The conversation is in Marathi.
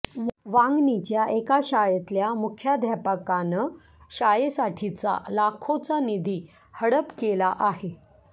वांगणीच्या एका शाळेतल्या मुख्याध्यापकानं शाळेसाठीचा लाखोंचा निधी हडप केला आहे